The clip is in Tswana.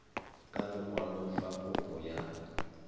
ka lekwalo fa kopo ya